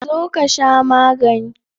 Zo ka sha magani.